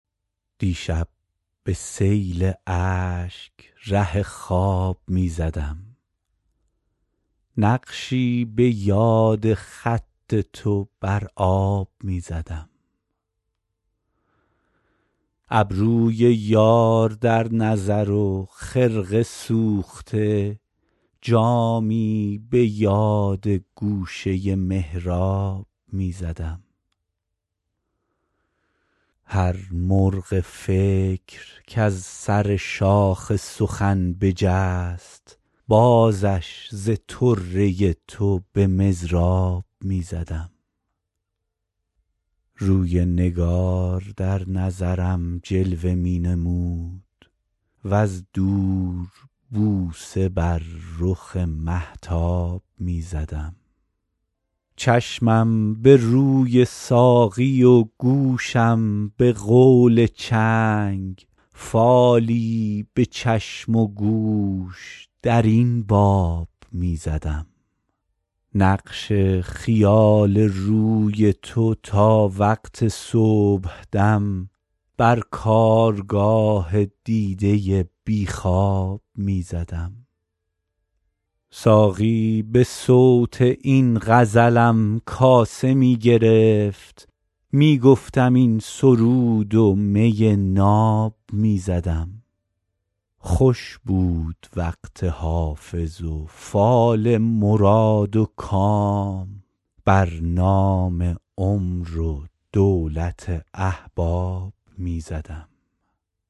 دیشب به سیل اشک ره خواب می زدم نقشی به یاد خط تو بر آب می زدم ابروی یار در نظر و خرقه سوخته جامی به یاد گوشه محراب می زدم هر مرغ فکر کز سر شاخ سخن بجست بازش ز طره تو به مضراب می زدم روی نگار در نظرم جلوه می نمود وز دور بوسه بر رخ مهتاب می زدم چشمم به روی ساقی و گوشم به قول چنگ فالی به چشم و گوش در این باب می زدم نقش خیال روی تو تا وقت صبحدم بر کارگاه دیده بی خواب می زدم ساقی به صوت این غزلم کاسه می گرفت می گفتم این سرود و می ناب می زدم خوش بود وقت حافظ و فال مراد و کام بر نام عمر و دولت احباب می زدم